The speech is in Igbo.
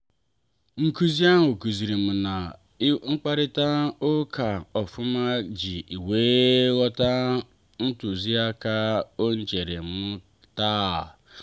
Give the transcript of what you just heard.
nkụzi ahụ kụzirim ka m na-akparita ụka ofuma iji wee ghọta ntuziaka enyerem taa.